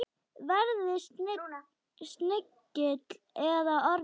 Verði snigill eða ormur.